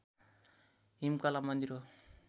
हिमकला मन्दिर हो